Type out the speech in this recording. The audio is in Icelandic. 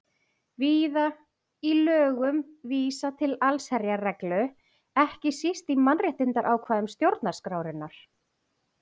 Víða er í lögum vísað til allsherjarreglu, ekki síst í mannréttindaákvæðum stjórnarskrárinnar.